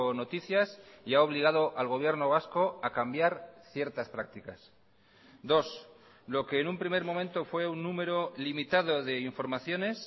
noticias y ha obligado al gobierno vasco a cambiar ciertas prácticas dos lo que en un primer momento fue un número limitado de informaciones